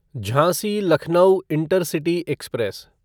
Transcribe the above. Jhansi Lucknow intercity express